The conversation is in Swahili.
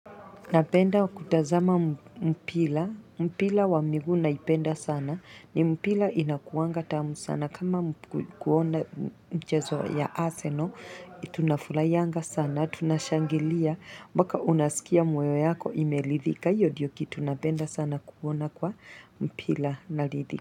Napenda kutazama mpila, mpila wa miguu naipenda sana, ni mpila inakuanga tamu sana, kama kuona mchezo ya aseno, tunafuraianga sana, tunashangilia, mbaka unasikia moyo yako imelidhika, hiyo diyo kitu nabenda sana kuona kwa mpila nalidhika.